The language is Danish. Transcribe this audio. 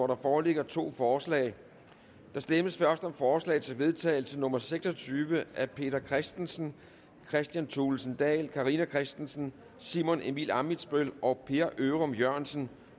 der foreligger to forslag der stemmes først om forslag til vedtagelse nummer seks og tyve af peter christensen kristian thulesen dahl carina christensen simon emil ammitzbøll og per ørum jørgensen